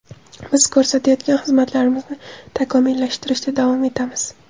Biz ko‘rsatayotgan xizmatlarimizni takomillashtirishda davom etamiz.